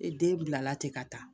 Ee den bilala ten ka taa